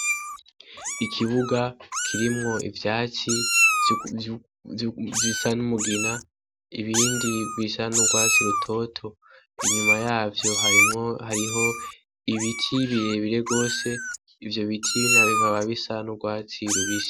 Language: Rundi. Ikibuga kirimwo ivyatsi bisa n'umugina ibindi bisa n'urwatsi rutoto inyuma yavyo harimwo hariho ibiti birebire gose ivyo biti bikaba bisa n'urwatsi rubisi.